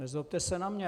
Nezlobte se na mě.